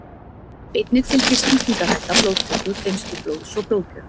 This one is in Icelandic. Einnig fylgir sýkingarhætta blóðtöku, geymslu blóðs og blóðgjöf.